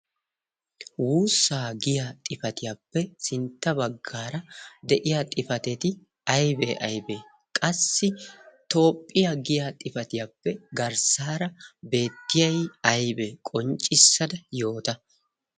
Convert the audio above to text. wuussaa giya xifatiyaappe sintta baggaara de'iya xifateti aybee aybee qassi toophphiyaa giya xifatiyaappe garssaara beettiyay aybee qonccissada yoota